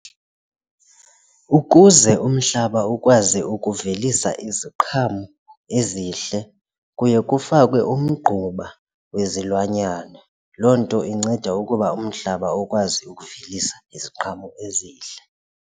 Ukuze umhlaba ukwazi ukuvelisa iziqhamo ezihle kuye kufakwe umgquba wezilwanyana, loo nto inceda ukuba umhlaba ukwazi ukuvelisa iziqhamo ezihle.